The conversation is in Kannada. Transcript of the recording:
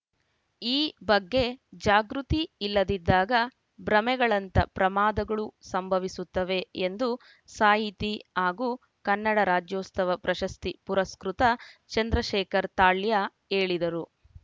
ಈ ಬಗ್ಗೆ ಜಾಗೃತಿ ಇಲ್ಲದಿದ್ದಾಗ ಭ್ರಮೆಗಳಂಥ ಪ್ರಮಾದಗಳು ಸಂಭವಿಸುತ್ತವೆ ಎಂದು ಸಾಹಿತಿ ಹಾಗೂ ಕನ್ನಡ ರಾಜ್ಯೋತ್ಸವ ಪ್ರಶಸ್ತಿ ಪುರಸ್ಕೃತ ಚಂದ್ರಶೇಖರ್‌ ತಾಳ್ಯ ಹೇಳಿದರು